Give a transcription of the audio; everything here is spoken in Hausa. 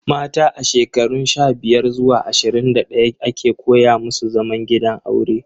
Mata a shekarun sha-biyar zuwa ashirin da ɗaya ake koya musu zaman gidan aure.